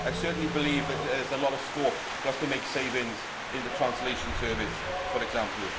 I certainly believe that there is a lot of scope for us to make savings in the Translation Service for example.